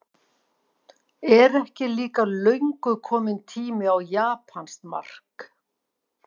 Er ekki líka löngu kominn tími á japanskt mark?